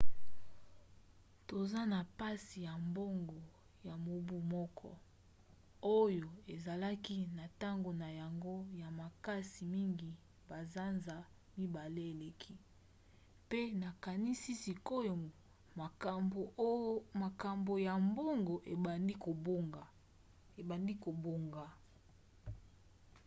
toza na mpasi ya mbongo ya mobu moko oyo ezalaki na ntango na yango ya makasi mngi basanza mibale eleki pe nakanisi sikoyo makambo ya mbongo ebandi kobonga.